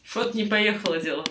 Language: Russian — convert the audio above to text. что-то не поехало дело